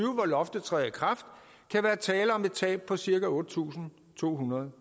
hvor loftet træder i kraft kan være tale om et tab på cirka otte tusind to hundrede